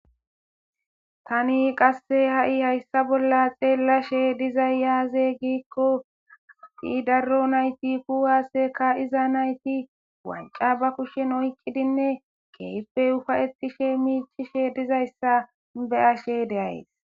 Tani qasse ha'i hayssa bolla xeellashe dizayyaaze giikko atdi darro nayti kuwaaseka iza nayti wanca ba kushshen oyqqidinne keyppey ufa'etishe miichishe dizayssa be ashe deays.